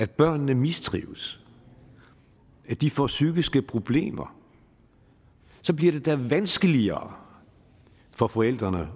børnene mistrives at de får psykiske problemer bliver det da vanskeligere for forældrene